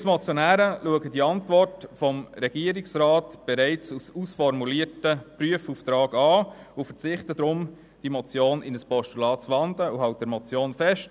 Wir als Motionäre verstehen die Antwort des Regierungsrats bereits als ausformulierten Prüfauftrag und verzichten deshalb darauf, die Motion in ein Postulat zu wandeln, und halten an der Motion fest.